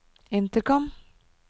intercom